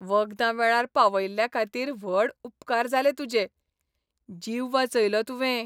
वखदां वेळार पावयल्ल्याखातीर व्हड उपकार जाले तुजे. जीव वाचयलो तुवें .